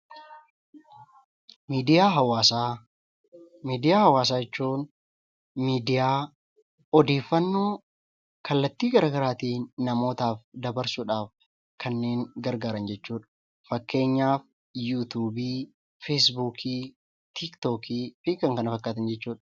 Miidiyaa hawaasaa jechuun miidiyaa odeeffannoo kallattii gara garaatiin namootaaf dabarsuudhaaf kanneen gargaaran jechuudha. Fakkeenyaaf yuutuubii, feesbuukii, tiiktookii, fi kan kana fakkaatan jechuudha.